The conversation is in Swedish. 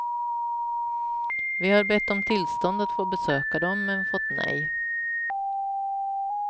Vi har bett om tillstånd att få besöka dem, men fått nej.